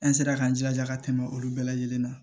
An sera k'an jilaja ka tɛmɛ olu bɛɛ lajɛlen kan